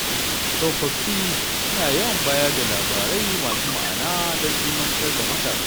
Tsofaffi suna yawan bayar da labarai masu ma’ana don ilmantar da matasa.